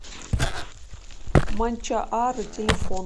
манчаары телефон